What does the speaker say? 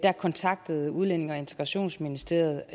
kontaktede udlændinge og integrationsministeriet